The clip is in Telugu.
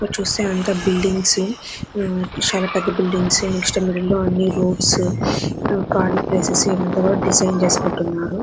ఇక్కడ చుస్తే అంతా బిల్డింగ్స్ చాల పెద్ద బిల్డింగ్స్ నెక్స్ట్ మిడిల్ లో అన్ని రోడ్స్ ఖాళీ ప్లేసెస్ అంత డిజైన్ చేసి పెట్టి ఉన్నారు.